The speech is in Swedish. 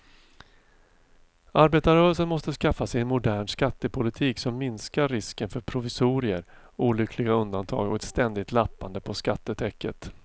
Arbetarrörelsen måste skaffa sig en modern skattepolitik som minskar risken för provisorier, olyckliga undantag och ett ständigt lappande på skattetäcket.